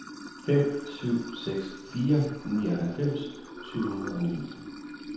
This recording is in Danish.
fem syv seks fire nioghalvfems syv hundrede og ni